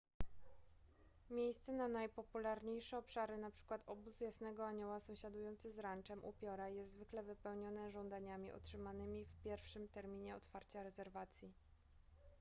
miejsce na najpopularniejsze obszary np obóz jasnego anioła sąsiadujący z ranczem upiora jest zwykle wypełnione żądaniami otrzymanymi w pierwszym terminie otwarcia rezerwacji